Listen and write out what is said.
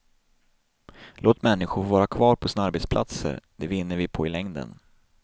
Låt människor få vara kvar på sina arbetsplatser, det vinner vi på i längden.